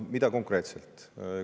Mida konkreetselt?